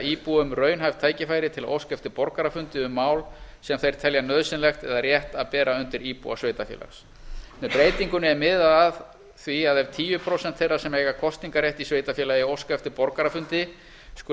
íbúum raunhæf tækifæri til að óska eftir borgarafundi um mál sem þeir telja nauðsynlegt eða rétt að bera undir íbúa sveitarfélags með breytingunni er miðað að því ef tíu prósent þeirra sem eiga kosningarrétt í sveitarfélagi óska eftir borgarafundi skuli